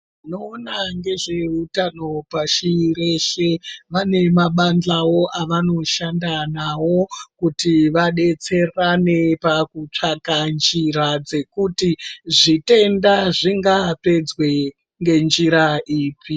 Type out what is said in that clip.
Vanoona ngezveutano pashi reshe vane mabadhlawo avanoshanda nawo kuti vadetserane pakutsvaka njira dzekuti zvitenda zvingapedzwe ngenjira ipi.